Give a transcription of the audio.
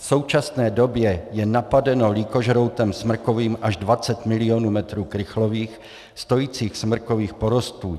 V současné době je napadeno lýkožroutem smrkovým až 20 milionů metrů krychlových stojících smrkových porostů.